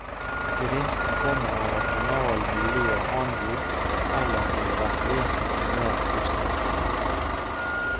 Gevinsten kommer av at kanalen muliggjør handel som ellers ville vært vesentlig mer kostnadskrevende.